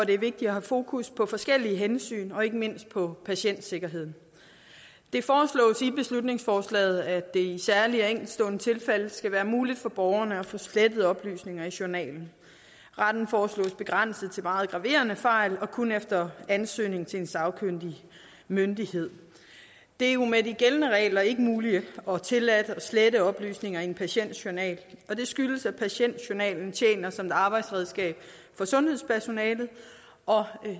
det er vigtigt at have fokus på forskellige hensyn og ikke mindst på patientsikkerheden det foreslås i beslutningsforslaget at det i særlige og enkeltstående tilfælde skal være muligt for borgerne at få slettet oplysninger i journalen retten foreslås begrænset til meget graverende fejl og kun efter ansøgning til en sagkyndig myndighed det er jo med de gældende regler ikke muligt og tilladt at slette oplysninger i en patients journal og det skyldes at patientjournalen tjener som et arbejdsredskab for sundhedspersonalet og